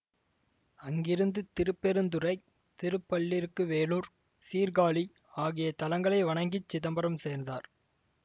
அங்கிருந்து திருப்பெருந்துறை திருப்பள்ளிருக்குவேளூர் சீர்காழி ஆகிய தலங்களை வணங்கிச் சிதம்பரம் சேர்ந்தார்